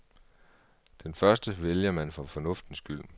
Den første vælger man for fornuftens skyld.